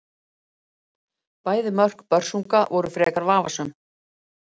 Bæði mörk Börsunga voru frekar vafasöm.